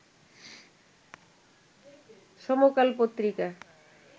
সমকাল পত্রিকা